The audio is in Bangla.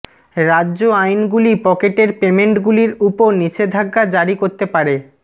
রাজ্য আইনগুলি পকেটের পেমেন্টগুলির উপর নিষেধাজ্ঞা জারি করতে পারে